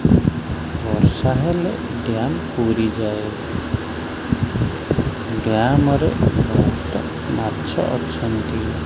ବର୍ଷା ହେଲେ ଡ୍ୟାମ୍ ପୂରି ଯାଏ ଡ୍ୟାମ୍ ରେ ବହୁତ ମାଛ ଅଛନ୍ତି।